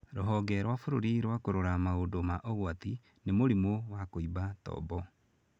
Rũhonge rwa bũrũri rwa kũrora maũndũ ma ũgwati. Nĩ mũrimũ wa kũimba tombo.